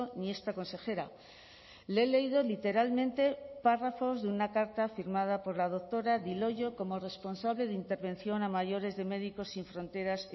ni esta consejera le he leído literalmente párrafos de una carta firmada por la doctora di loio como responsable de intervención a mayores de médicos sin fronteras